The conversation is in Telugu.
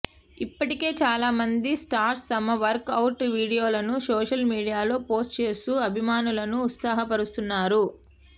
ఇప్పటికే చాలా మంది స్టార్స్ తమ వర్క్ అవుట్ వీడియోలను సోషల్ మీడియాలో పోస్ట్ చేస్తూ అభిమానులను ఉత్సాహ పరుస్తున్నారు